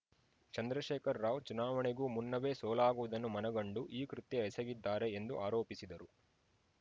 ಚಂದ್ರಶೇಖರ ರಾವ್‌ ಚುನಾವಣೆಗೂ ಮುನ್ನವೇ ಸೋಲಾಗುವುದನ್ನು ಮನಗಂಡು ಈ ಕೃತ್ಯ ಎಸಗಿದ್ದಾರೆ ಎಂದು ಆರೋಪಿಸಿದರು